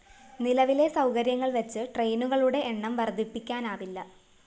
നിലവിലെ സൗകര്യങ്ങള്‍ വച്ച് ട്രെയിനുകളുടെ എണ്ണം വര്‍ദ്ധിപ്പിക്കാനാവില്ല